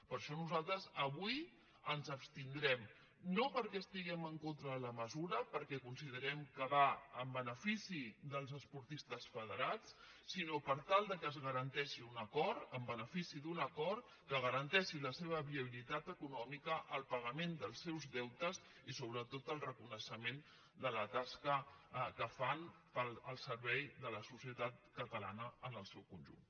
per això nosaltres avui ens abstindrem no perquè estiguem en contra de la mesura perquè considerem que va en benefici dels esportistes federats sinó per tal que es garanteixi un acord en benefici d’un acord que garanteixi la seva viabilitat econòmica el paga·ment dels seus deutes i sobretot el reconeixement de la tasca que fan al servei de la societat catalana en el seu conjunt